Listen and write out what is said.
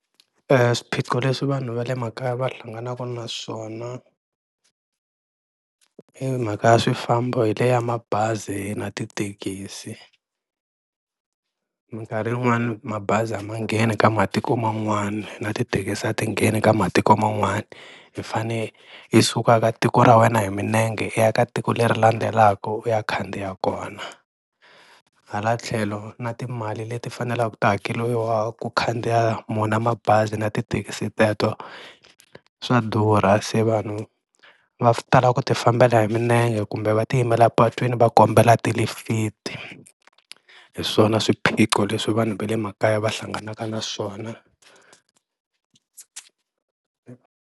Swiphiqo leswi vanhu va le makaya va hlanganaka na swona i mhaka ya swifambo hi leya mabazi na tithekisi, minkarhi yin'wani mabazi a ma ngheni ka matiko man'wana na tithekisi ti ngheni ka matiko man'wana, hi fane hi suka ka tiko ra wena hi milenge hi ya ka tiko leri landzelaku u ya khandziya kona, hala tlhelo na timali leti fanelaku ti hakeriwa ku khandziya wona mabazi na tithekisi teto swa durha, se vanhu va tala ku ti fambela hi milenge kumbe va ti yimela patwini va kombela tilifiti, hi swona swiphiqo leswi vanhu va le makaya va hlanganaka na swona.